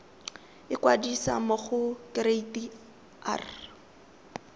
ikwadisa mo go kereite r